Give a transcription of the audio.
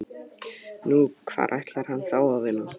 Nú, hvar ætlar hann þá að vinna?